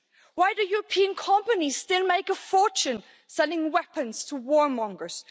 Why do European companies still make a fortune selling weapons to warmongers?